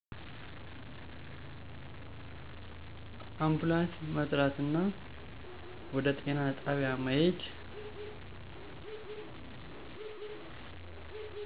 አንፑላንስ መጥራትና ወደ ጤና ጣቢያ መሄድ